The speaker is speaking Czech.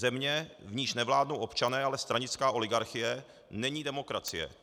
Země, v níž nevládnou občané, ale stranická oligarchie, není demokracie.